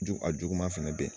Jugu a juguman fɛnɛ be yen.